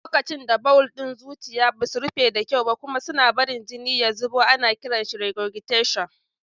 Lokacin da bawul ɗin zuciya ba su rufe da kyau kuma suna barin jini ya zubo, ana kiran shi regurgitation.